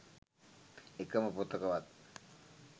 එකම පොතකවත්